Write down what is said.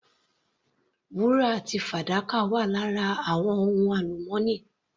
Wúrà àti fàdákà wà lára àwọn ohun alumọ́nì.